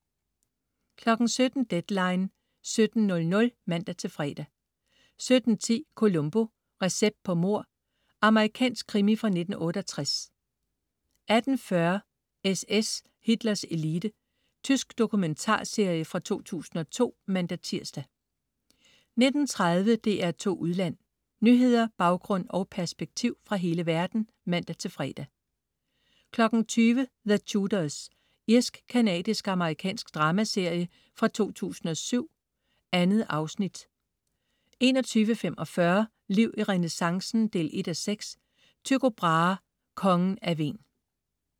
17.00 Deadline 17:00 (man-fre) 17.10 Columbo: Recept på mord. Amerikansk krimi fra 1968 18.40 SS, Hitlers elite. Tysk dokumentarserie fra 2002 (man-tirs) 19.30 DR2 Udland. Nyheder, baggrund og perspektiv fra hele verden (man-fre) 20.00 The Tudors. Irsk-canadisk-amerikansk dramaserie fra 2007. 2 afsnit 21.45 Liv i renæssancen 1:6. Tycho Brahe, Kongen af Hven